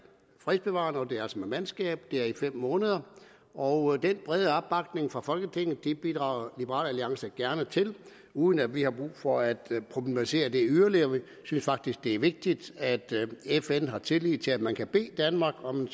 fredsbevarende det er altså med mandskab det er i fem måneder og den brede opbakning fra folketinget bidrager liberal alliance gerne til uden at vi har brug for at problematisere det yderligere vi synes faktisk det er vigtigt at fn har tillid til at man kan bede danmark om